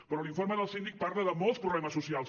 però l’informe del síndic parla de molts problemes socials